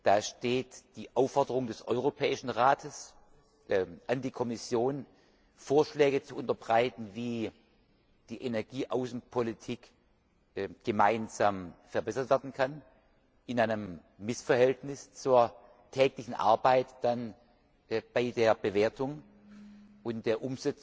Da steht die Aufforderung des Europäischen Rates an die Kommission, Vorschläge zu unterbreiten, wie die Energieaußenpolitik gemeinsam verbessert werden kann, in einem Missverhältnis zur täglichen Arbeit bei der Bewertung und der